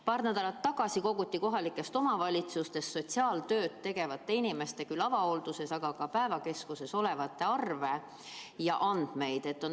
Paar nädalat tagasi koguti andmeid kohalikes omavalitsustes sotsiaaltööd tegevate inimeste kohta, küll avahoolduses, aga ka päevakeskuses töötavate inimeste kohta.